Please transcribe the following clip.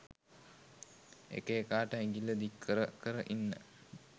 එක එකාට ඇඟිල්ල දික් කර කර ඉන්න